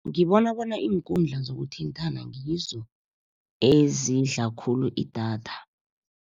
Ngibona bona iinkundla zokuthintana, ngizo ezidla khulu idatha.